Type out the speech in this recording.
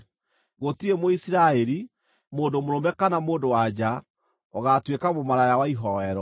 Gũtirĩ Mũisiraeli, mũndũ mũrũme kana mũndũ-wa-nja, ũgaatuĩka mũmaraya wa ihooero.